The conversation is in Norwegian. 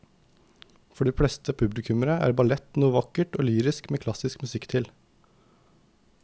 For de fleste publikummere er ballett noe vakkert og lyrisk med klassisk musikk til.